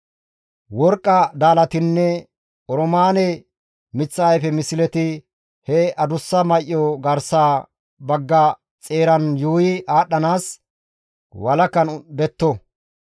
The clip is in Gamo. Worqqa daalatinne oroomaane miththa ayfe misleti he adussa may7o garsa bagga xeeran yuuyi aadhdhanaas walakan detto.